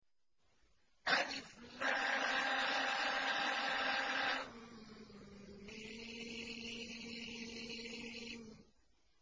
الم